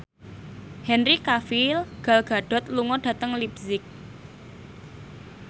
Henry Cavill Gal Gadot lunga dhateng leipzig